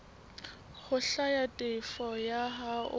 ho hlwaya tefo ya hao